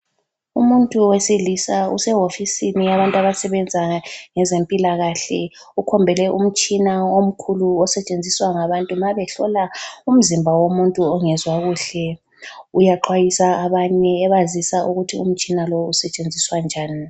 Umuntu wesilisa usehofisini yabantu abasebenza ngezempilakahle, ukhombele umtshina omkhulu osetshenziswa ngabantu mabehlola umzimba womuntu ongezwa kuhle. Uyaxwayisa abanye ebazisa ukuthi umtshina lo usetshenziswa njani.